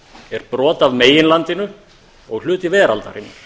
er brot af meginlandinu og hluti veraldarinnar